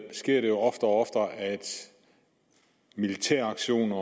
sker det jo oftere og oftere at militæraktioner